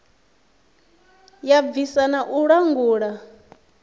ya bvisa na u langula